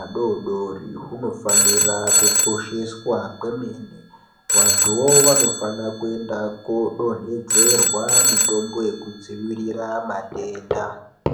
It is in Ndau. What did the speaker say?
adoodori hunofanira kukosheswa kwemene. Vanthuvo vanofana kuenda koodonhedzerwa mitombo yekudzivirira madenda .